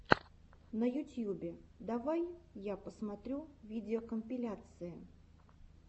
на ютьюбе давай я посмотрю видеокомпиляции